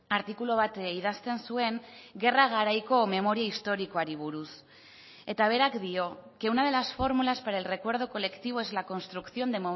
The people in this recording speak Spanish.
artikulu bat idazten zuen gerra garaiko memoria historikoari buruz eta berak dio que una de las fórmulas para el recuerdo colectivo es la construcción de